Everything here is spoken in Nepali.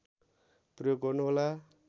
प्रयोग गर्नुहोला